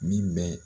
Min bɛ